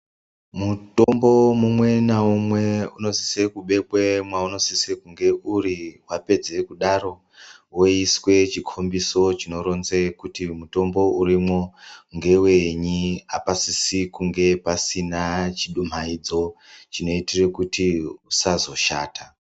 Mutombo umwe naumwe unosise kubekwe mwaunosise kunge uri wapedze kudaro woiswe chikombiso chinoronze kuti mutombo urimwo ngewenyi apasisi kunge pasina chidumaidzo chinoitire kuti usazoshata.